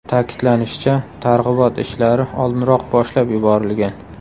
Ta’kidlanishicha, targ‘ibot ishlari oldinroq boshlab yuborilgan.